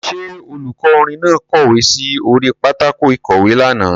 Ṣé olùkọ́ orin náà kọ̀wé sí orí pátákó ìkọ̀wé lánàá.